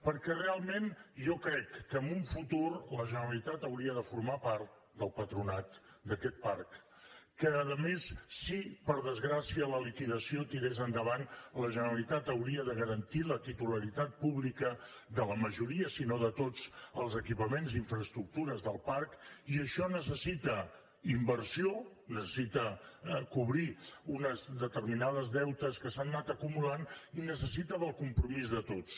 perquè realment jo crec que en un futur la generalitat hauria de formar part del patronat d’aquest parc que a més si per desgràcia la liquidació tirés endavant la generalitat hauria de garantir la titularitat pública de la majoria si no de tots els equipaments infraestructures del parc i això necessita inversió necessita cobrir uns determinats deutes que s’han anat acumulant i necessita el compromís de tots